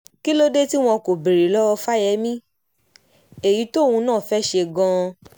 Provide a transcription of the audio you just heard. kí ló dé tí wọn kò béèrè lọ́wọ́ fáyẹ́mi èyí tóun náà fẹ́ẹ́ ṣe gan-an